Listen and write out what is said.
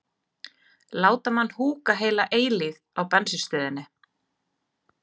láta mann húka heila eilífð á bensínstöðinni.